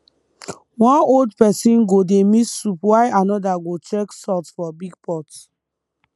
one old person go dey mix soup while another go check salt for big pot